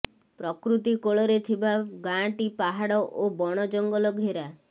ପ୍ରକୃତି କୋଳରେ ଥିବା ଗାଁଟି ପାହାଡ ଓ ବଣ ଜଙ୍ଗଲ ଘେରା